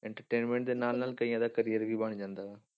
Entertainment ਦੇ ਨਾਲ ਨਾਲ ਕਈਆਂ ਦਾ career ਵੀ ਬਣ ਜਾਂਦਾ ਵਾ।